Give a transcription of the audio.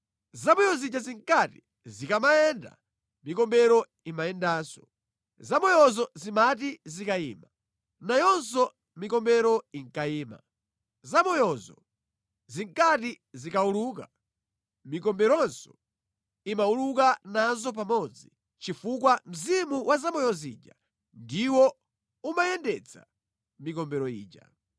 Zamoyo zija zinkati zikamayenda mikombero imayendanso. Zamoyozo zimati zikayima, nayonso mikombero inkayima. Zamoyozo zinkati zikawuluka, mikomberonso imawuluka nazo pamodzi chifukwa mzimu wa zamoyo zija ndiwo umayendetsa mikombero ija.